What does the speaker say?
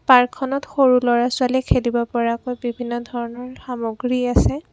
পাৰ্কখনত সৰু ল'ৰা-ছোৱালীয়ে খেলিব পৰাকৈ বিভিন্ন ধৰণৰ সামগ্ৰী আছে।